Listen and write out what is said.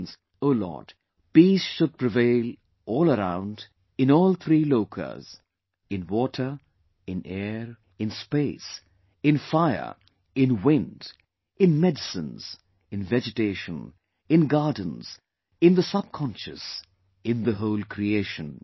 It means O, Lord, peace should prevail all around in all three "Lokas",in water, in air, in space, in fire, in wind, in medicines, in vegetation, in gardens, in sub conscious, in the whole creation